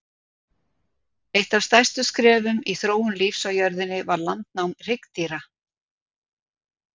Eitt af stærstu skrefum í þróun lífs á jörðunni var landnám hryggdýra.